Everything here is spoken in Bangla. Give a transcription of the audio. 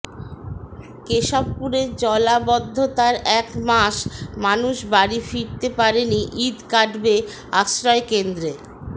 কেশবপুরে জলাবদ্ধতার এক মাস মানুষ বাড়ি ফিরতে পারেনি ঈদ কাটবে আশ্রয়কেন্দ্রে